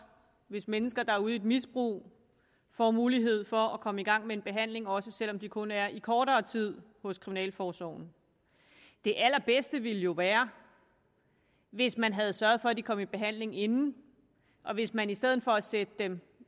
hvis mennesker der er ude i et misbrug får mulighed for at komme i gang med en behandling også selv om det kun er i kortere tid hos kriminalforsorgen det allerbedste ville jo være hvis man havde sørget for at de kom i behandling inden og hvis man i stedet for at sætte dem